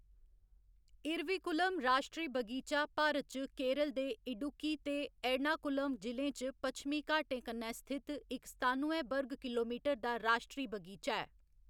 इरविकुलम राश्ट्री बगीचा भारत च केरल दे इडुक्की ते एर्णाकुलम जि'लें च पच्छमी घाटें कन्नै स्थित इक सतानुए वर्ग किलोमीटर दा राश्ट्री बगीचा ऐ।